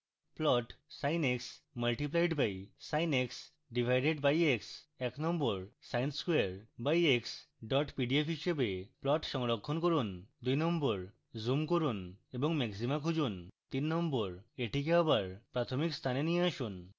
plot sin x multiplied by sin x divided by x